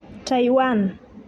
Taiwan.